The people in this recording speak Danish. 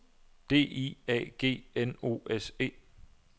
D I A G N O S E